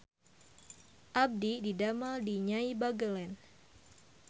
Abdi didamel di Nyai Bagelen